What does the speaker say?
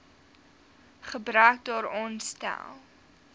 gebrek daaraan stel